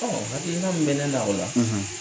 Ɔ hakilina min bɛ ne na o la